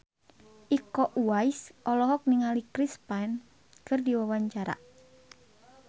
Iko Uwais olohok ningali Chris Pane keur diwawancara